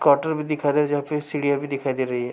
Quarter भी दिखाई दे रही है जहाँ पे सीढिया भी दिखाई दे रही है।